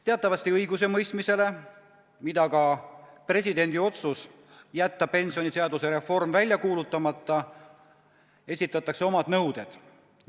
Teatavasti esitatakse õigusemõistmisele, mida tähendab presidendi otsus jätta pensioniseaduse reform välja kuulutamata, omad nõuded.